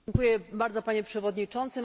Dziękuję bardzo, Panie Przewodniczący!